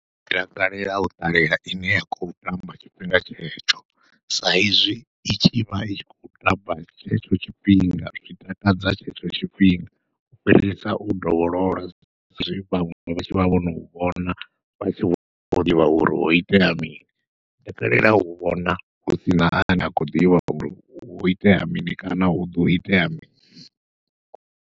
Ndi takalela u ṱalela ine ya khou tamba tshifhinga tshetsho, sa izwi i tshivha itshi khou tamba tshetsho tshifhinga zwi takadza tshetsho tshifhinga u fhirisa u dovholola zwe vhaṅwe vha tshivha vhono vhona vha tshi vho ḓivha uri ho itea mini. Nda takalela u vhona husina ane a khou ḓivha uri hu itea mini kana huḓo itea mini.